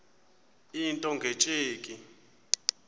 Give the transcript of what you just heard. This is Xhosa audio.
into nge tsheki